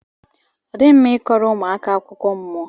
odighi mma i koro ụmụaka akụkọ mmụọ.